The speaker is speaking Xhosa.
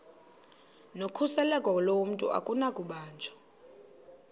nokhuseleko lomntu akunakubanjwa